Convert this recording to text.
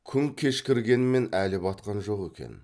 күн кешкіргенмен әлі батқан жоқ екен